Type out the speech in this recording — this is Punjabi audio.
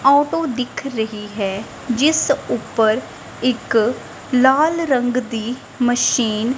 ਔਟੋ ਦਿਖ ਰਹੀ ਹੈ ਜਿਸ ਉੱਪਰ ਇੱਕ ਲਾਲ ਰੰਗ ਦੀ ਮਸ਼ੀਨ --